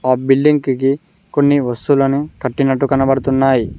ఆ బిల్డింగికి కొన్ని వస్తువులని కట్టినట్టు కనపడుతున్నాయి.